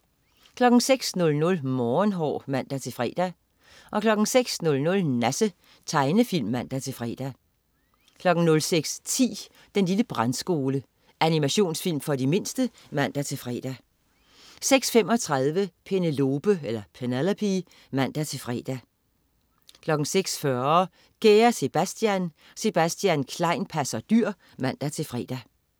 06.00 Morgenhår (man-fre) 06.00 Nasse. Tegnefilm (man-fre) 06.10 Den lille Brandskole. Animationsfilm for de mindste (man-fre) 06.35 Penelope (man-fre) 06.40 Kære Sebastian. Sebastian Klein passer dyr (man-fre)